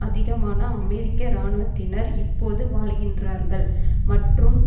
அதிகமான அமெரிக்க இராணுவத்தினர் இப்பொது வாழ்கின்றார்கள் மற்றும்